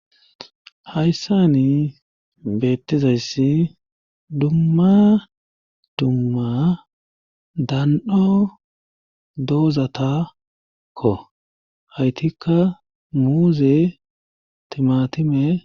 Hayssani beettizayssi dumma dumma dan7o doozatakko haytikka muuze timatime.